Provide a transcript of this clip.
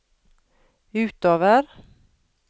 utover